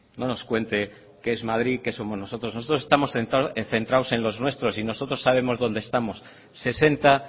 no nos cuente que es madrid que somos nosotros nosotros estamos centrados en los nuestros y nosotros sabemos dónde estamos sesenta